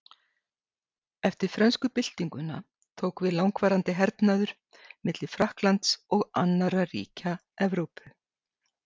Eftir frönsku byltinguna tók við langvarandi hernaður milli Frakklands og annarra ríkja Evrópu.